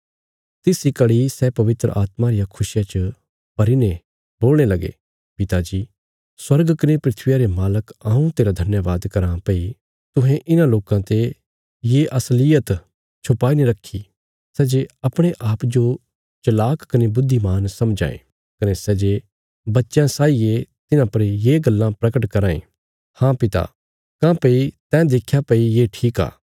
तिस इ घड़ी सै पवित्र आत्मा रिया खुशिया च भरी ने बोलणे लगे पिता जी स्वर्ग कने धरतिया रे मालक हऊँ तेरा धन्यवाद कराँ भई तुहें इन्हां लोकां ते ये असलीयत छुपाई ने रखी सै जे अपणे आप जो चलाक कने बुद्धिमान समझां ये कने सै जे बच्चयां साई ये तिन्हां पर ये गल्लां परगट कराँ ये हाँ पिता काँह्भई तैं देख्या भई ये ठीक आ